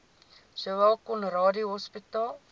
sowel conradie hospitaal